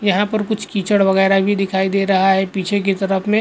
यहां पर कुछ कीचड़ वगैरह भी दिखाई दे रहा है पीछे की तरफ में --